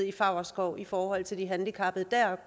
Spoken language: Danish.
i favrskov i forhold til de handicappede deroppe